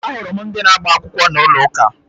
Ahụrụ m ndị na-agba akwụkwọ n'ụlọ ụka